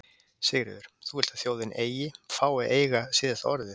Sigríður: Þú vilt að þjóðin eigi, fái að eiga síðasta orðið?